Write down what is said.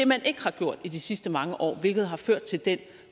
man ikke har gjort i de sidste mange år hvilket har ført til